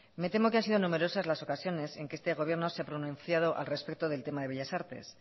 me temo que han sido numerosas las ocasiones en que este gobierno se ha pronunciado al respecto del tema de bellas artes